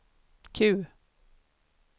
Q